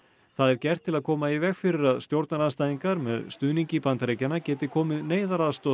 það er gert til að koma í veg fyrir að stjórnarandstæðingar með stuðningi Bandaríkjanna geti komið neyðaraðstoð